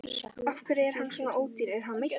Af hverju er hann svona ódýr, er hann meiddur?